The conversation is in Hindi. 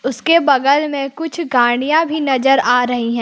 उसके बगल में कुछ गाड़ियां भी नजर आ रही हैं।